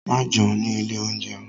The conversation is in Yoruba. Má jẹun ni ilé-oúnjẹ.